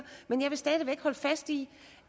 men jeg vil stadig væk holde fast i